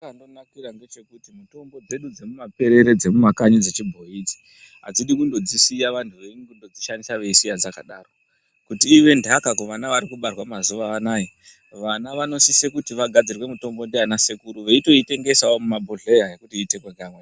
Chazvakandonakira ngechekuti mutombo dzedu dzemuma perere dzemumakanyi dzechibhoiyi idzi adzidi kundodzisiya vantu veindodzishandisa veisiya dzakadaro kuti I've ntaka kuvana vari kubarwa mazuwaanaya vana vanosise kuti vagadzirirwe mutombo ngana sekuru veitoitengesawo mumabhohleya kutoite pa.